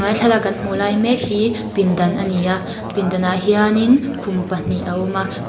thlalak kan hmuh lai mek hi pindan ani a pindanah hianin khum pahnih a awm a--